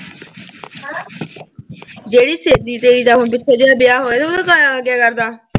ਜਿਹੜੀ ਸਹੇਲੀ ਤੇਰੀ ਦਾ ਹੁਣ ਪਿੱਛੇ ਜੇ ਆ ਵਿਆਹ ਹੋਇਆ, ਉਹਦੇ ਘਰ ਆਲਾ ਕੀ ਕਰਦਾ